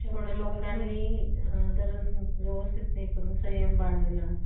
कमी वजन चांगलं battery light आणि सुरक्षितता हे altra book च वैशिष्ट्य आहे. crome book laptop